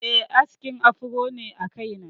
Eh, askin afro ne a kaina.